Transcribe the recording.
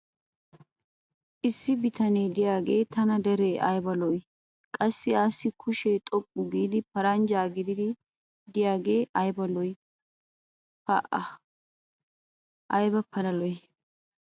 issi bitanee diyaagee tana deree ayba lo''ii? qassi assi kushee xoqqu giidi paranjjaa gididi diyaagaassi ayba lo'ii? pa ayba pala lo'ii?